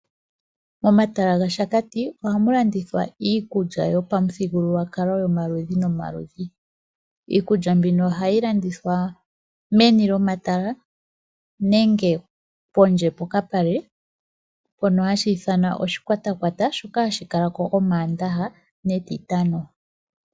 Momatala gaShakati oha mu landithwa iikulya yopamuthigululwakalo yomaludhi nomaludhi. Iikulya mbino ohayi landithwa meni lyomatala nenge pondje pokapale na ohashi ithanwa oshikwatakwata hashi kala ko moMaandaha netitano.